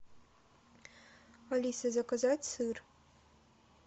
алиса заказать сыр